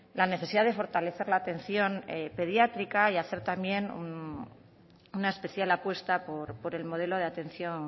la necesidad de fortalecer la atención pediátrica y hacer también una especial apuesta por el modelo de atención